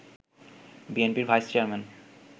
বিএনপির vice chairman